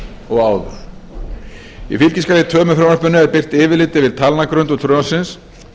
og áður í fylgiskjali tvö með frumvarpinu er birt yfirlit yfir talnagrundvöll frumvarpsins